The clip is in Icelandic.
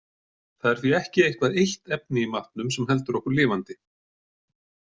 Það er því ekki eitthvað eitt efni í matnum sem heldur okkur lifandi.